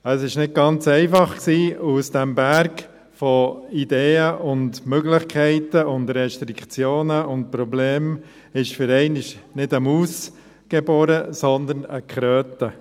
Es war also nicht ganz einfach, und aus diesem Berg von Ideen, Möglichkeiten, Restriktionen und Problemen wurde für einmal nicht eine Maus geboren, sondern eine Kröte.